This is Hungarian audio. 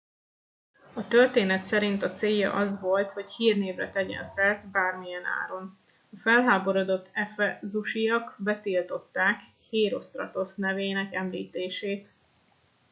a történet szerint a célja az volt hogy hírnévre tegyen szert bármilyen áron a felháborodott efezusiak betiltották hérosztratosz nevének említését